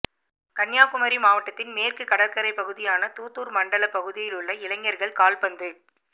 கன்னியாகுமரி மாவட்டத்தின் மேற்கு கடற்கரை பகுதியான தூத்தூா் மண்டலப் பகுதியிலுள்ள இளைஞா்கள் கால்பந்து